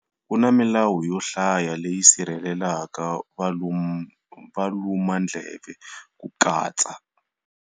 Ku na milawu yo hlaya leyi sirhele laka valumandleve ku katsa.